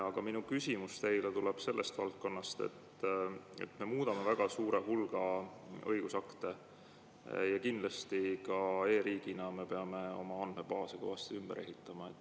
Aga minu küsimus teile tuleb sellest valdkonnast, et me muudame väga suurt hulka õigusakte ja kindlasti e‑riigina me peame oma andmebaase kõvasti ümber ehitama.